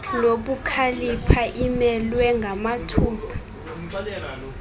nobukhalipha imelwe ngamathupha